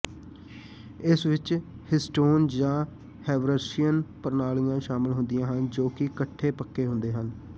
ਇਸ ਵਿਚ ਹਿਸਟੋਨ ਜਾਂ ਹੈਵਰਸੀਅਨ ਪ੍ਰਣਾਲੀਆਂ ਸ਼ਾਮਲ ਹੁੰਦੀਆਂ ਹਨ ਜੋ ਕਿ ਇਕੱਠੇ ਪੱਕੇ ਹੁੰਦੇ ਹਨ